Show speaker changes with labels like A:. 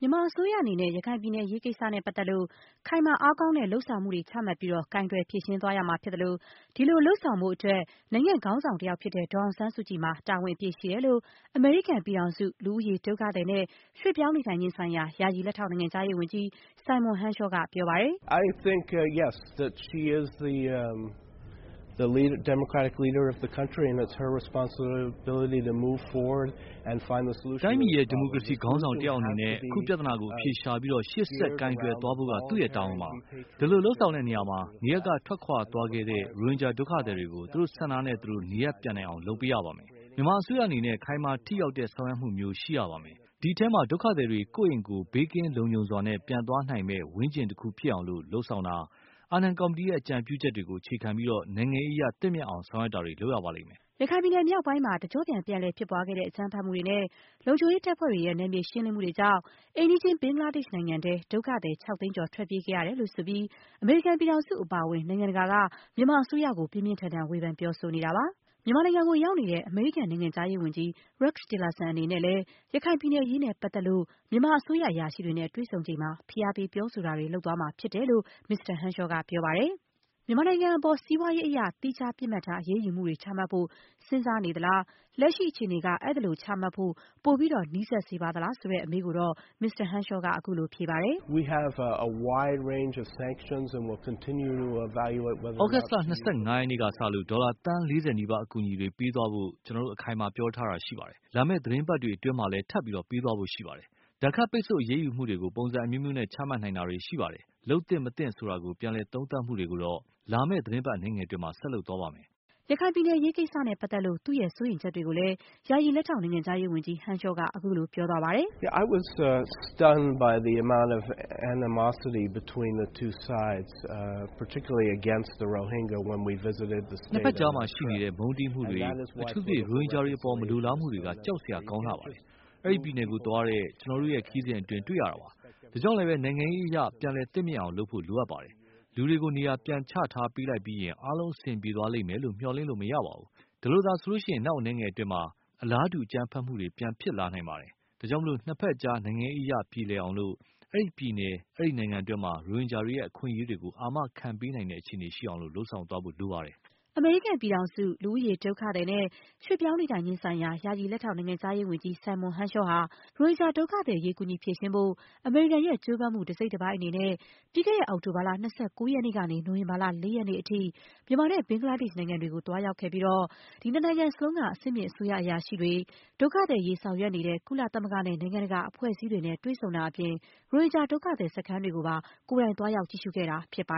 A: မြန်မာအစိုးရအနေနဲ့ ရခိုင်ပြည်နယ် အရေးကိစ္စနဲ့ပတ်သက်လို့ ခိုင်မာ အားကောင်းတဲ့ လုပ်ဆောင်မှုတွေ ချမှတ်ပြီး ကိုင်တွယ်ဖြေရှင်းသွားရမှာ ဖြစ်သလို၊ ဒီလိုလုပ်ဆောင်ဖို့အတွက် နိုင်ငံ့ခေါင်းဆောင်တယောက်ဖြစ်တဲ့ ဒေါ်အောင်ဆန်းစုကြည်မှာ တာဝန် အပြည့်ရှိတယ်လို့ အမေရိကန် ပြည်ထောင်စု၊ လူဦးရေ၊ ဒုက္ခသည်နဲ့ ရွှေ့ပြောင်းနေထိုင်ခြင်းဆိုင်ရာ ယာယီလက်ထောက် နိုင်ငံခြားရေးဝန်ကြီး Simon Henshaw က ပြောဆိုလိုက်တာပ
B: ါ။ "တိုင်းပြည်ရဲ့ ဒီမိုက
C: ရေစီခေါင်းဆောင် တယောက်အနေနဲ့ အခုပြဿနာကို အဖြေရှာပြီး၊ ရှေ့ဆက် ကိုင်တွယ်သွားဖို့က သူ့ရဲ့ တာဝန်ပါ။ ဒီလိုလုပ်ဆောင်တဲ့နေရာမှာ - နေရပ်က ထွက်ခွာသွားခဲ့တဲ့ ရိုဟင်ဂျာဒုက္ခသည်တွေကို သူတို့ဆန္ဒနဲ့သူတို့ နေရပ်ပြန်နိုင်အောင် လုပ်ပေးရပါမယ်။ မြန်မာအစိုးရအနေနဲ့ ခိုင်မာထိရောက်တဲ့ ဆောင်ရွက်မှုမျိုး ရှိရပါမယ်။ ဒီအထဲမှာ ဒုက္ခသည်တွေ ကိုယ့်အိမ်ကိုယ် ဘေးကင်းလုံခြုံစွာနဲ့ ပြန်သွားနိုင်မယ့် ဝန်းကျင်တခုဖြစ်အောင် လုပ်ဆောင်တာ၊ အာနန် ကော်မတီရဲ့ အကြံပြုချက်တွေကို အခြေခံပြီး နိုင်ငံရေးအရ သင့်မြတ်အောင် ဆောင်ရွက်တာတွေ လုပ်ရပါလိမ့်မယ်
A: ။” ရခိုင်ပြည်နယ်မြောက်ပိုင်းမှာ တကျော့ပြန် ပြန်လည် ဖြစ်ပွားခဲ့တဲ့ အကြမ်းဖက်မှုတွေနဲ့ လုံခြုံရေး တပ်ဖွဲ့တွေရဲ့ နယ်မြေရှင်းလင်းမှုတွေကြောင့် အိမ်နီးချင်း ဘင်္ဂလားဒေ့ရှ်နိုင်ငံထဲ ဒုက္ခသည် ၆ သိန်းကျော် ထွက်ပြေးခဲ့ရတယ်လို့ ဆိုပြီး အမေရိကန်ပြည်ထောင်စု အပါအဝင် နိုင်ငံတကာက မြန်မာအစိုးရကို ပြင်းပြင်းထန်ထန် ဝေဖန်ပြောဆိုနေတာပါ။ မြန်မာနိုင်ငံကိုရောက်နေတဲ့ အမေရိကန် နိုင်ငံခြားရေးဝန်ကြီး Rex Tillerson အနေနဲ့လည်း ရခိုင်ပြည်နယ်အရေးနဲ့ပတ်သက်လို့ မြန်မာအစိုးရအရာရှိတွေနဲ့ တွေ့ဆုံချိန်မှာ ဖိအားပေး ပြောဆိုတာတွေ လုပ်သွားမှာဖြစ်တယ်လို့လည်း မစ္စတာ Henshaw က ပြောပါတယ်။ မြန်မာနိုင်ငံအပေါ် စီးပွားရေးအရ သီးခြား ပစ်မှတ်ထား အရေးယူမှုတွေ ချမှတ်ဖို့ စဉ်းစားနေသလား။ လက်ရှိအခြေအနေက အဲဒီလို ချမှတ်ဖို့ ပိုပြီး နီးစပ်လာစေပါသလား ဆိုတဲ့ အမေးကိုတော့ မစ္စတာ Henshaw က ခုလို ဖြေပါတယ်။
B: "သြဂုတ်လ ၂၅ ရက
C: ်နေ့ကစလို့ ဒေါ်လာ သန်း ၄၀ နီးပါး အကူအညီတွေ ပေးသွားဖို့ ကျနော်တို့ အခိုင်အမာ ပြောထားတာရှိပါတယ်။ လာမယ့် သီတင်းပတ်တွေအတွင်းမှာလည်း ထပ်ပြီး ပေးသွားဖို့ ရှိပါတယ်။ ဒဏ်ခတ် ပိတ်ဆို့ အရေးယူမှုတွေကို ပုံစံအမျိုးမျိုးနဲ့ ချမှတ်နိုင်တာတွေ ရှိပါတယ်။ လုပ်သင့်မသင့် ဆိုတာ ပြန်လည်သုံးသပ်မှုတွေကိုတော့ လာမယ့်သီတင်းပတ် အနည်းငယ်အတွင်း ဆက်လုပ်သွားပါမယ်။”
A: ရခိုင်ပြည်နယ် အရေးကိစ္စနဲ့ပတ်သက်လို့ သူ့ရဲ့ စိုးရိမ်ချက်တွေကိုလည်း ယာယီ လက်ထောက် နိုင်ငံခြားရေးဝန်ကြီး Henshaw က ခုလို ပြောသွားပါတယ်။
B: "နှစ်ဘက်ကြားမှာ
C: ရှိနေတဲ့ မုန်းတီးမှုတွေ၊ အထူးသဖြင့် ရိုဟင်ဂျာတွေအပေါ် မလိုလားမှုတွေက ကြောက်စရာ ကောင်းလှပါတယ်။အဲဒီပြည်နယ်ကိုသွားတဲ့ ကျနော်တို့ရဲ့ ခရီးစဉ်အတွင်းတွေ့ရတာပါ။ ဒါကြောင့်လဲ နိုင်ငံရေးအရ ပြန်လည် သင့်မြတ်အောင် လုပ်ဖို့ လိုအပ်ပါတယ်။ လူတွေကို နေရာ ပြန်ချထားပေးလိုက်ပြီးရင် အားလုံး အဆင်ပြေသွားလိမ့်မယ်လို့ မျှော်လင့်လို့မရပါဘူး။ အဲဒီလိုသာဆိုရင် နောက်အနည်းငယ်အတွင်းမှာ အလားတူ အကြမ်းဖက်မှုတွေ ပြန်ဖြစ်လာနိုင်ပါတယ်။ ဒါ့ကြောင့် နှစ်ဘက်အကြား နိုင်ငံရေးအရ ပြေလည်အောင်၊ အဲဒီပြည်နယ်…. အဲဒီနိုင်ငံတွင်းမှာ ရိုဟင်ဂျာတွေရဲ့ အခွင့်အရေးတွေကို အာမခံပေးနိုင်တဲ့ အခြေအနေရှိအောင် လုပ်ဆောင်သွားဖို့ လိုအပ်ပါတယ်။”
A: အမေရိကန်ပြည်ထောင်စု၊ လူဦးရေ၊ ဒုက္ခသည်နဲ့ ရွှေ့ပြောင်းနေထိုင်ခြင်းဆိုင်ရာ ယာယီလက်ထောက် နိုင်ငံခြားရေးဝန်ကြီး Simon Henshaw ဟာ ရိုဟင်ဂျာ ဒုက္ခသည်အရေး ကူညီဖြေရှင်းဖို့ အမေရိကန်ရဲ့ ကြိုးပမ်းမှုတစိတ်တပိုင်းအနေနဲ့ ပြီးခဲ့တဲ့ အောက်တိုဘာလ ၂၉ ရက်နေ့ ကနေ နိုဝင်ဘာလ ၄ ရက်နေ့ထိ မြန်မာနဲ့ ဘင်္ဂလားဒေ့ရှ် နိုင်ငံတွေကို သွားရောက်ခဲ့ပြီးတော့ နှစ်နိုင်ငံစလုံးက အဆင့်မြင့် အစိုးရ အရာရှိတွေ၊ ဒုက္ခသည်အရေး ဆောင်ရွက်နေတဲ့ ကုလသမဂ္ဂနဲ့ နိုင်ငံတကာအဖွဲ့အစည်းတွေနဲ့ တွေ့ဆုံတာအပြင် ရိုဟင်ဂျာဒုက္ခသည်စခန်းတွေကိုပါ ကိုယ်တိုင် သွားရောက် ကြည့်ရှုခဲ့တာဖြစ်ပါ